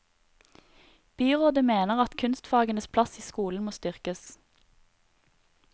Byrådet mener at kunstfagenes plass i skolen må styrkes.